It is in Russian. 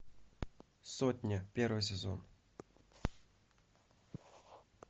сотня первый сезон